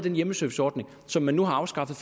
en hjemmeserviceordning som man nu har afskaffet